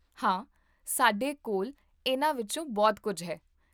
ਹਾਂ, ਸਾਡੇ ਕੋਲ ਇਹਨਾਂ ਵਿੱਚੋਂ ਬਹੁਤ ਕੁੱਝ ਹੈ